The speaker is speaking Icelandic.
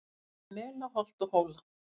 Yfir mela holt og hóla